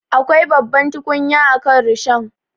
Akwai babbar tukunya akan rishon.